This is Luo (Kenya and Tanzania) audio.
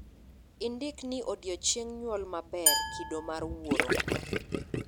indik ni odiochieng' nyuol maber kido mar wuoro